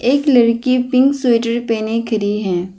एक लड़की pink sweater पहने खड़ी है।